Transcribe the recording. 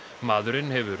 maðurinn hefur